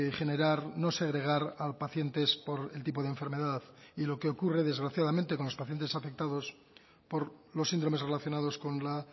generar no segregar a pacientes por el tipo de enfermedad y lo que ocurre desgraciadamente con los pacientes afectados por los síndromes relacionados con la